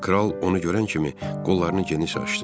Kral onu görən kimi qollarını geniş açdı.